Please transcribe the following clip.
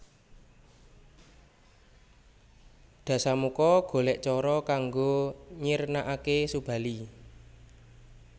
Dasamuka golek cara kanggo nyirnakake Subali